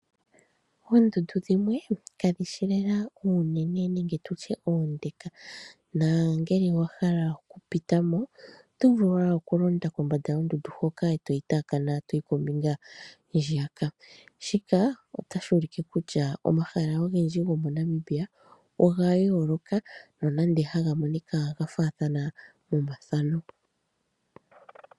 Oondundu dhimwe ka dhi shi lela oonene nenge oonde, nongele owa hala oku pita mo oto vulu wala oku londa kombanda yondundu hoka e to yi taakana e to yi kombinga hwiyaka. Shika otashi ulike kutya omahala ogendji gomoNamibia oga yooloka nonande haga monika ga faathana momathano.